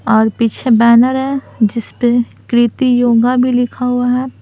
और पीछे बैनर है जिस पे कृति योगा भी लिखा हुआ है।